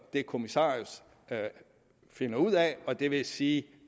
det kommissarius finder ud af og det vil sige